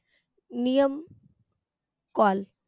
नियम call